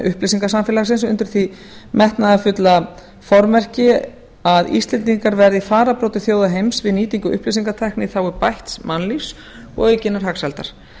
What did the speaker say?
upplýsingasamfélagsins undir því metnaðarfulla formerki að íslendingar verði í fararbroddi þjóða heims við nýtingu upplýsingatækni í þágu bætts mannlífs og aukinnar hagsældar